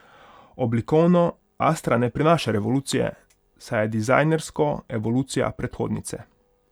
Oblikovno astra ne prinaša revolucije, saj je dizajnersko evolucija predhodnice.